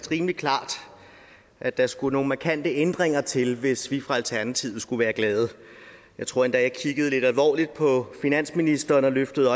rimelig klart at der skulle nogle markante ændringer til hvis vi fra alternativet skulle være glade jeg tror endda at jeg kiggede lidt alvorligt på finansministeren løftede